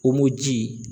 ji